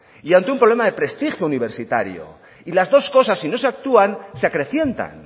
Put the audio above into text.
y ante un problema de prestigio universitario y las dos cosas si no se actúa se acrecientan